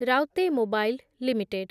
ରାଉତେ mobile limited